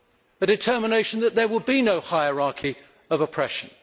A determination that there would be no hierarchy of oppression.